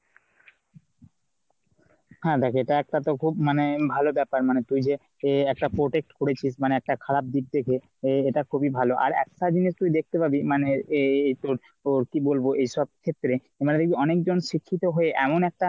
হ্যাঁ দেখ এটা তো একটা খুব মানে ভালো ব্যাপার মানে তুই যে তুই একটা protect করেছিস। মানে একটা খারাপ দিক দেখে। এই এটা খুবই ভালো আর এক স্বাধীন তুই দেখতে পাবি মানে এই এই তোর কি বলবো এই সব ক্ষেত্রে আমরা যদি অনেক জন শিক্ষিত হয়ে এমন একটি